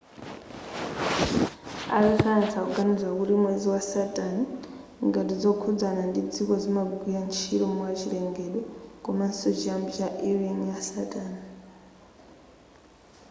azasayansi akuganiza kuti mwezi wa saturn ngati zokhudzana ndi dziko zimagwira ntchito mwachilengedwe komanso chiyambi cha e ring ya saturn